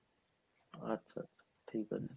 আচ্ছা ঠিকাছে।